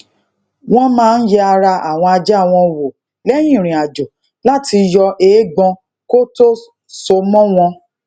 wón máa ń yẹ ara àwọn ajá wọn wò léyìn ìrìn àjò lati yo eegbon ko to so mo won